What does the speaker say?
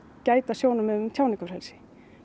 gæta sjónarmiðum um tjáningarfrelsi